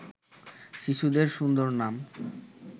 শিশুদের সুন্দর নাম